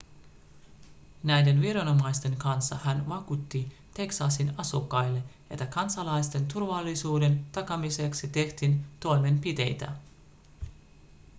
näiden viranomaisten kanssa hän vakuutti teksasin asukkaille että kansalaisten turvallisuuden takaamiseksi tehtiin toimenpiteitä